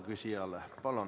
Palun!